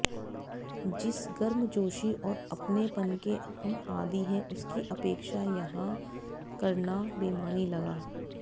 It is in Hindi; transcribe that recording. जिस गर्मजोशी और अपनेपन के हम आदी हैं उसकी अपेक्षा यहां करना बेमानी लगा